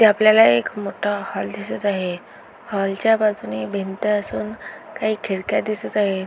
आपल्याला एक मोठा हॉल दिसत आहे हॉलच्या बाजूने भिंत असून काही खिडक्या दिसत आहे.